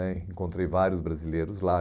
né encontrei vários brasileiros lá.